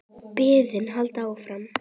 Biðin heldur áfram.